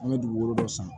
An bɛ dugukolo dɔ san